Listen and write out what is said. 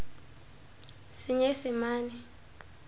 senyesemane